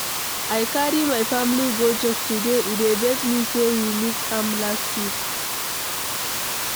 I carry my family go church today, e dey vex me say we miss am last week.